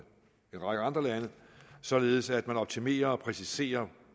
række andre lande således at man optimerer og præciserer